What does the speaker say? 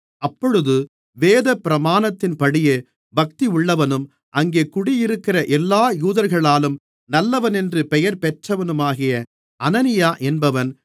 அப்பொழுது வேதபிரமாணத்தின்படியே பக்தியுள்ளவனும் அங்கே குடியிருக்கிற எல்லா யூதர்களாலும் நல்லவனென்று பெயர்பெற்றவனுமாகிய அனனியா என்பவன்